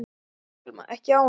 Telma: Ekki ánægðar?